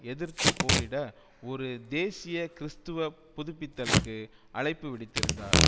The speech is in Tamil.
எதிர்த்து போரிட ஒரு தேசிய கிறிஸ்துவ புதுப்பித்தலுக்கு அழைப்பு விடுத்திருந்தார்